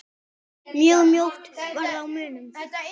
Mjög mjótt varð á munum.